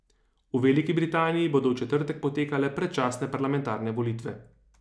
V Veliki Britaniji bodo v četrtek potekale predčasne parlamentarne volitve.